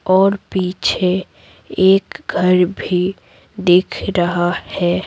और पीछे एक घर भी दिख रहा है।